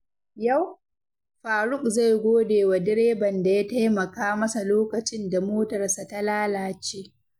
Yau, Faruq zai gode wa direban da ya taimaka masa lokacin da motarsa ta lalace.